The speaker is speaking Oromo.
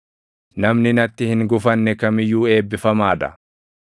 Namni natti hin gufanne kam iyyuu eebbifamaa dha.”